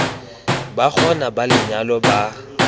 ba gona ba lenyalo ba